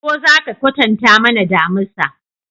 Ko za ka kwatanta mana damisa?